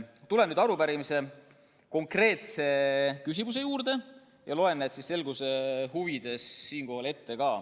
Tulen nüüd arupärimise küsimuste juurde ja loen need selguse huvides ka ette.